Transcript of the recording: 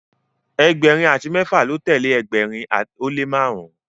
ẹgbẹrin ati mẹfa lọ telee ẹgbẹrin o le marun.